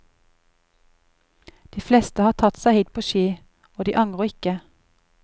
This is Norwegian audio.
De fleste har tatt seg hit på ski, og de angrer ikke.